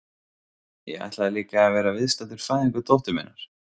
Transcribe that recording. Ég ætlaði líka að vera viðstaddur fæðingu dóttur minnar.